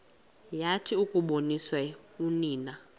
yathi yakuboniswa unina